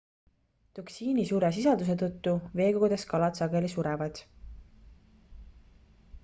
toksiini suure sisalduse tõttu veekogudes kalad sageli surevad